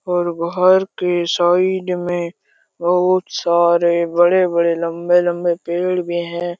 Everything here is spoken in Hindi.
और बहार के साइड में बहुत सारे बड़े बड़े लम्बे लम्बे पेड़ भी है।